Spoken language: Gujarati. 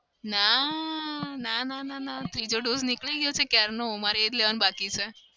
ના ના ના ના ત્રીજો dose નીકળી ગયો છે ક્યારનો. મારે એ જ લેવાનો બાકી છે.